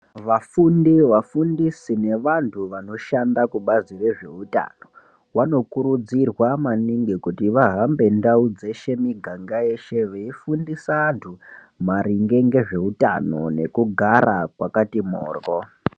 Vafundi vafundisi nevantu vanoshanda kubazi rezveutano vanokurudzirwa maningi kuti vahambe ndau dzeshe muganga yeshe veifundisa antu maringe ngezveutano nekugara kwakati moryo.